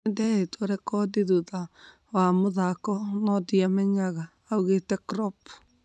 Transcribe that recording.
Nĩnderĩtwe rekodi thutha wa mũthako no ndĩamenyaga,"augĩte Klopp